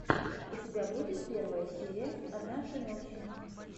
у тебя будет первая серия однажды ночью